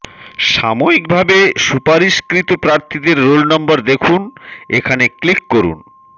সাময়িকভাবে সুপারিশকৃত প্রার্থীদের রোল নম্বর দেখুন এখানে ক্লিক করুন